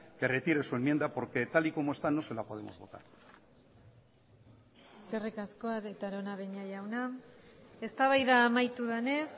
que retire su enmienda porque tal y como está no se la podemos votar eskerrik asko arieta araunabeña jauna eztabaida amaitu denez